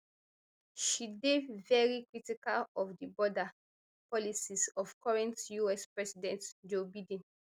she dey veri critical of di border policies of current us president joe biden